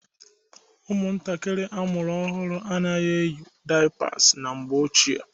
Ụmụntakịrị amụrụ ọhụrụ anaghị-eyi daiyapas na mgbe ochie.